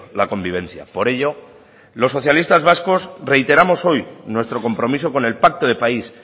la convivencia por ello los socialistas vascos reiteramos hoy nuestro compromiso con el pacto de país